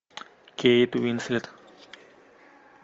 кейт уинслет